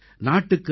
நாட்டுக்கு ஐ